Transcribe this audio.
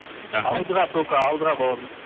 рахмет алдыға только алдыға бауырым